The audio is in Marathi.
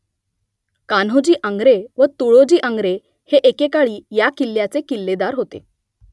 कान्होजी आंग्रे व तुळोजी आंग्रे हे एकेकाळी या किल्ल्याचे किल्लेदार होते